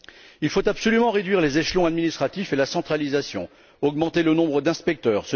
Il faut absolument réduire les échelons administratifs et la centralisation, augmenter le nombre d'inspecteurs.